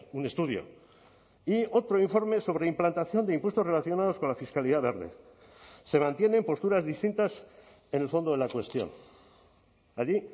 un estudio y otro informe sobre implantación de impuestos relacionados con la fiscalidad verde se mantienen posturas distintas en el fondo de la cuestión allí